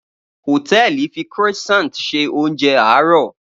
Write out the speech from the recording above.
Hòtẹ́ẹ̀lì fi Croissant ṣe oúnjẹ àárọ̀